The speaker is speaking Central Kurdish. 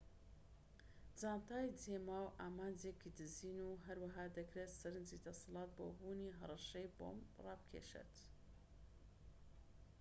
جانتای جێماو ئامانجێکی دزین و هەروەها دەکرێت سەرنجی دەسەڵات بۆ بوونی هەڕەشەی بۆمب ڕابکێشێت